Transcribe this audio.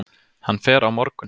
Hann fer á morgun.